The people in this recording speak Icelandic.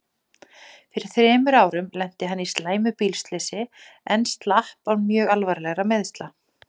Fyrir þremur árum lenti hann í slæmu bílslysi en slapp án mjög alvarlegra meiðsla.